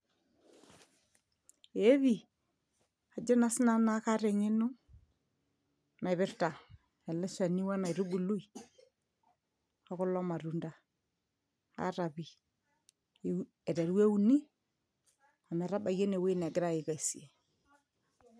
Ee pi. Ajo naa sinanu naa kaata eng'eno naipirta ele shani wele aitubului, okulo matunda. Aata pi. Aiteru euni, emetabaiki enewoi negirai aikesie.